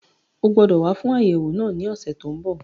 O gbọdọ̀ wá fún àyẹ̀wò náà ní ọ̀sẹ̀ tó n bọ̀